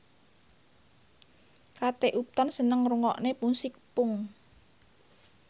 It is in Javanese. Kate Upton seneng ngrungokne musik punk